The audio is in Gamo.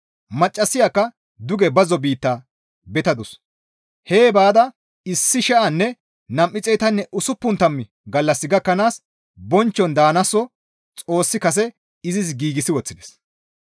Maccassayakka duge bazzo biitta betadus; hee baada 1,260 gallas gakkanaas bonchchon daanaso Xoossi kase izis giigsi woththides.